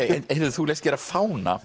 þú lést gera fána